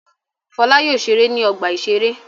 Fọlá yóò ṣeré ní ọgbà-ìṣeré.